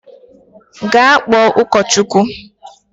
Gaa kpọọ ụkọchukwu!